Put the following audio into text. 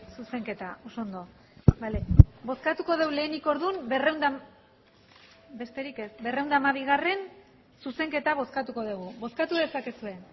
zuzenketa oso ondo bale bozkatuko dugu lehenik orduan berrehun eta hamabi besterik ez berrehun eta hamabigarrena zuzenketa bozkatuko dugu bozkatu dezakezue